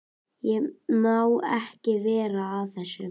Ég má ekki vera að þessu.